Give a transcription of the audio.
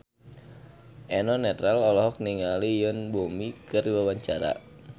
Eno Netral olohok ningali Yoon Bomi keur diwawancara